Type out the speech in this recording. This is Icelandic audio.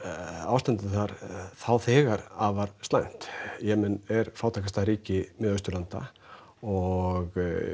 ástandið þar þá þegar afar slæmt Jemen er fátækasta ríki Miðausturlanda og